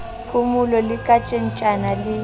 phomolo le ka tjhentjhana le